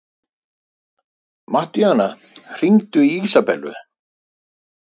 Mattíana, hringdu í Ísabellu.